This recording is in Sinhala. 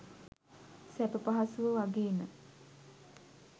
සැප පහසුව වගේම